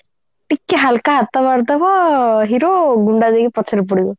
ଟିକେ ହାଲକା ହାତ ମାରିଦବ hero ଗୁଣ୍ଡା ଯାଇକି ପଛରେ ପଡିବ